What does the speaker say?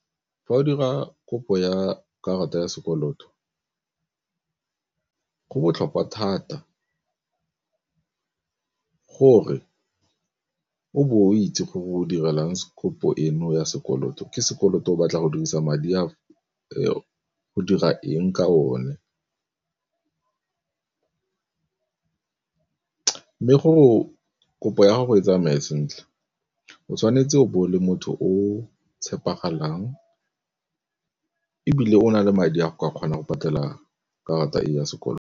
Fa o dira kopo ya karata ya sekoloto go botlhokwa thata gore bo o itse go direlang kopo eno ya sekoloto. Ke sekoloto o batla go dirisa madi a o go dira eng ka o ne, mme go kopo ya go e tsamaye sentle o tshwanetse o bo le motho o tshepegalang ebile o na le madi a ka kgona go patela karata e ya sekoloto.